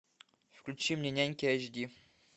включи мне няньки ач ди